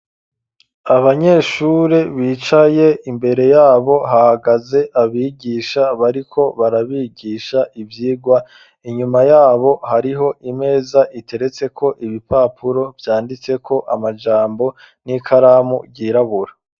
Abanyeshuri bicaye imbere yabo hahagaze abigisha bariko barabigisha ivyirwa, inyuma yabo hariho imeza iteretseko ibipapuro vyanditseko amajambo n'ikaramu ryirabura.